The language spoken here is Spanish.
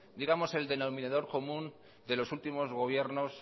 digamos el denominador común de los últimos gobiernos